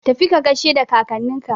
Tafi ka gaishe da kakanninka!